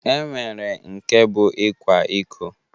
E nwere nke bụ ịkwa iko